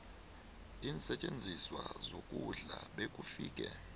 iinsetjenziswa zokudla bekufike